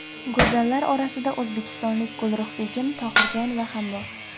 Go‘zallar orasida o‘zbekistonlik Gulruhbegim Tohirjonova ham bor.